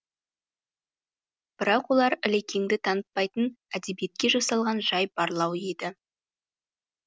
бірақ олар ілекеңді танытпайтын әдебиетке жасалған жай барлау еді